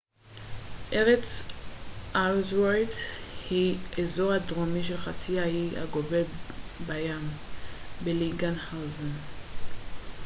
ארץ אלסוורת' היא האזור הדרומי של חצי האי הגובל בים בלינגהאוזן